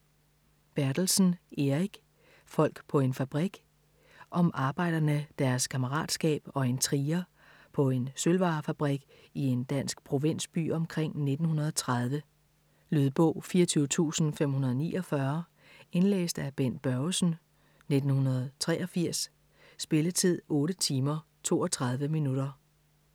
Bertelsen, Erik: Folk på en fabrik Om arbejderne, deres kammeratskab og intriger, på en sølvvarefabrik i en dansk provinsby omkring 1930. Lydbog 24549 Indlæst af Bent Børgesen, 1983. Spilletid: 8 timer, 32 minutter.